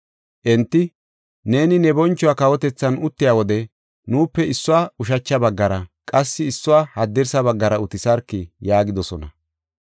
Enti, “Neeni ne boncho kawotethan uttiya wode, nuupe issuwa ushacha baggara qassi issuwa haddirsa baggara utisarki” yaagidosona.